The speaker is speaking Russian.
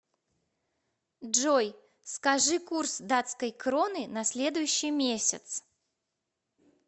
джой скажи курс датской кроны на следующий месяц